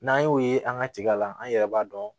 N'an y'o ye an ka tiga la an yɛrɛ b'a dɔn